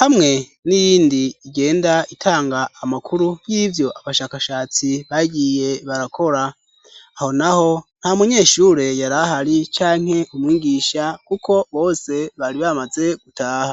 hamwe n'iyindi igenda itanga amakuru y'ivyo abashakashatsi bagiye barakora aho na ho nta munyeshure yarahari canke umwigisha, kuko bose bari bamaze gutaha.